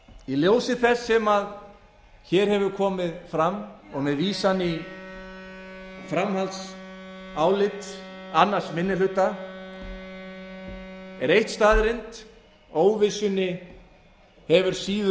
í ljósi þess sem hér hefur komið fram og vísan í framhaldsálit annar minni hluta er eitt staðreynd óvissunni hefur síður